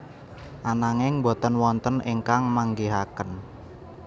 Ananging boten wonten ingkang manggihaken